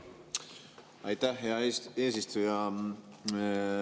Aitäh, hea eesistuja!